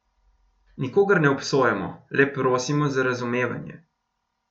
Nikogar ne obsojamo, le prosimo za razumevanje.